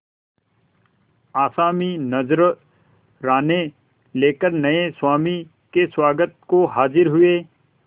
आसामी नजराने लेकर नये स्वामी के स्वागत को हाजिर हुए